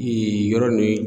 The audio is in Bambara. yɔrɔ